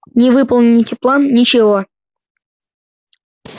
не выполните план ничего